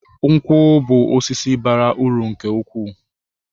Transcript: Nkwu bú osisi bara uru nke ukwuu